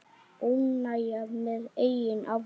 Óánægja með eigin afrek.